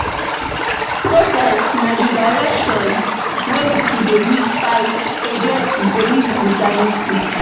Protests na di reaction wey pipo dey use fight against police brutality